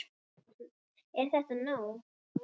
Er þetta ekki nóg?